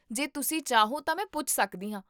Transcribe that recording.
ਜੇ ਤੁਸੀਂ ਚਾਹੋ ਤਾਂ ਮੈਂ ਪੁੱਛ ਸਕਦੀ ਹਾਂ